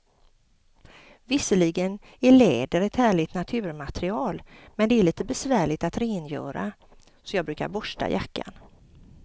Visserligen är läder ett härligt naturmaterial, men det är lite besvärligt att rengöra, så jag brukar borsta jackan.